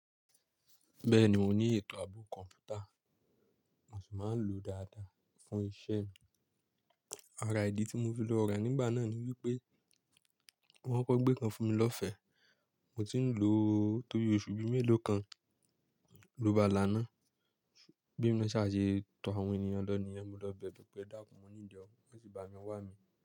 Bẹ́ẹ̀ni, mo ní ètò ààbò kọ̀ǹpútà, mo sì máa ń lò ó dáadáa fún iṣẹ́ mi. Ara ìdí tí mo fi lọ rà nígbà náà ni wípé wọ́n kò gbé kan fún mi lọ́fẹ̀ẹ́, mo tì ń lò ó tóbi oṣù bí méèló kan ló ba là ń ná. Bí mo ṣe ṣà ṣe tọ àwọn ènìyàn lọ níyẹn, mo lọ bẹ̀rẹ̀ pẹ̀ edáàkùn mọ ní ìdí ọkọ̀, wọ́n sì bá mi wá mi.